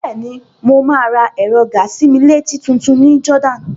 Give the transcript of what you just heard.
Bẹ́ẹ̀ni, mo máa ra ẹ̀rọ gàa-sí-mí-létí tutun ní Jordan.